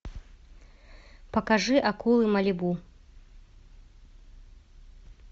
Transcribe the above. покажи акулы малибу